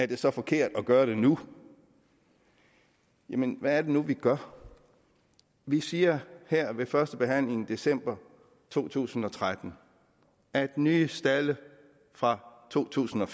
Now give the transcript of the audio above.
det så er forkert at gøre det nu jamen hvad er det nu vi gør vi siger her ved førstebehandlingen i december to tusind og tretten at nye stalde fra to tusind og